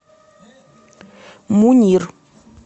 мунир